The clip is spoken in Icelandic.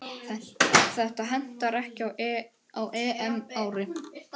Þetta hentaði ekki á EM-ári.